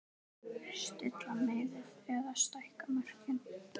Stilla miðið eða stækka mörkin?